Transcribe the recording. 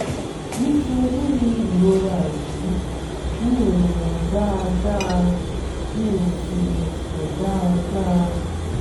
nítorí ìrora yìí mi ò lè rìn dáadáa mi ò sì lè sùn dáadáa